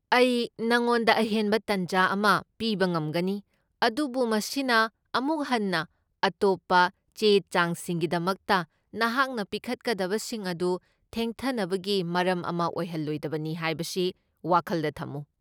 ꯑꯩ ꯅꯪꯉꯣꯟꯗ ꯑꯍꯦꯟꯕ ꯇꯥꯟꯖꯥ ꯑꯃ ꯄꯤꯕ ꯉꯝꯒꯅꯤ, ꯑꯗꯨꯕꯨ ꯃꯁꯤꯅ ꯑꯃꯨꯛ ꯍꯟꯅ ꯑꯇꯣꯞꯄ ꯆꯦ ꯆꯥꯡꯁꯤꯡꯒꯤꯗꯃꯛꯇ ꯅꯍꯥꯛꯅ ꯄꯤꯈꯠꯂꯛꯀꯗꯕꯁꯤꯡ ꯑꯗꯨ ꯊꯦꯡꯊꯅꯕꯒꯤ ꯃꯔꯝ ꯑꯃ ꯑꯣꯏꯍꯜꯂꯣꯏꯗꯕꯅꯤ ꯍꯥꯏꯕꯁꯤ ꯋꯥꯈꯜꯗ ꯊꯝꯃꯨ꯫